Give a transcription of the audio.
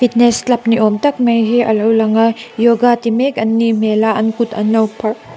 club ni awm tak mai hi a lo lang a yoga ti mek an nih hmel a an kut an lo pharh--